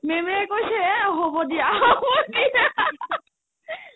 ma'am য়ে কৈছে এ হ'ব দিয়া কি যে